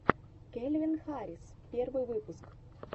кельвин харрис первый выпуск